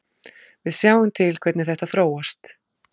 Við sjáum til hvernig þetta þróast.